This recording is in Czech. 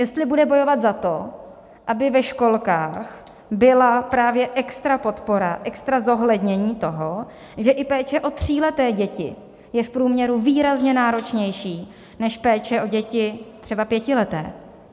Jestli bude bojovat za to, aby ve školkách byla právě extra podpora, extra zohlednění toho, že i péče o tříleté děti je v průměru výrazně náročnější než péče o děti třeba pětileté.